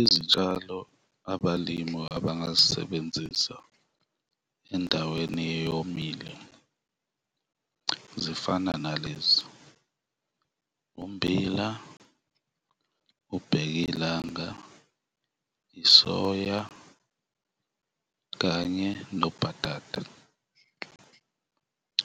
Izitshalo abalimi abangazisebenzisa endaweni eyomile zifana nalezi, ummbila, ubheka ilanga, i-soya kanye nobhatata,